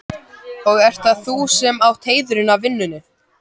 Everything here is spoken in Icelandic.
Og ert það þú sem átt heiðurinn af vinnunni?